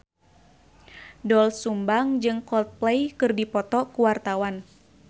Doel Sumbang jeung Coldplay keur dipoto ku wartawan